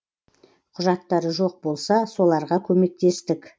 құжаттары жоқ болса соларға көмектестік